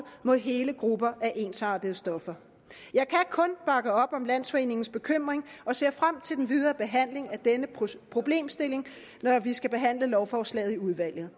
mod hele grupper af ensartede stoffer jeg kan kun bakke op om landsforeningens bekymring og ser frem til den videre behandling af denne problemstilling når vi skal behandle lovforslaget i udvalget